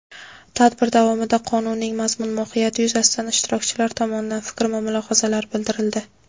Tadbir davomida Qonunning mazmun-mohiyati yuzasidan ishtirokchilar tomonidan fikr va mulohazalar bildirildi.